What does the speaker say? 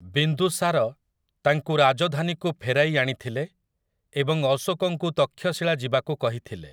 ବିନ୍ଦୁସାର ତାଙ୍କୁ ରାଜଧାନୀକୁ ଫେରାଇ ଆଣିଥିଲେ ଏବଂ ଅଶୋକଙ୍କୁ ତକ୍ଷଶୀଳା ଯିବାକୁ କହିଥିଲେ ।